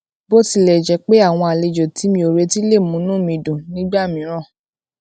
bó tilè jé pé àwọn àlejò tí mi ò retí lè múnú mi dùn nígbà mìíràn